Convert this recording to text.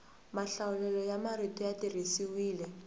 mahlawulelo ya marito ya tirhisiwile